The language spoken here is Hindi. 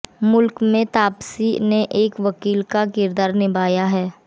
मुल्क में तापसी ने एक वकील का किरदार निभाया है